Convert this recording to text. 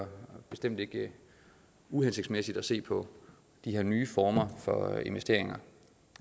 bestemt ikke er uhensigtsmæssigt at se på de her nye former for investeringer